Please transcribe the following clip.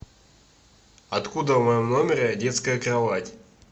откуда в моем номере детская кровать